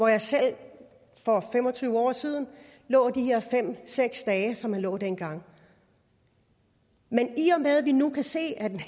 jeg selv for fem og tyve år siden lå de her fem seks dage som man lå dengang men i og med at vi nu kan se at en